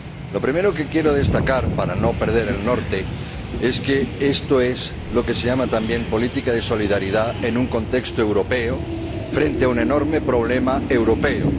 Lo primero que quiero destacar, para no perder el norte, es que esto es lo que se llama también política de solidaridad en un contexto europeo frente a un enorme problema europeo.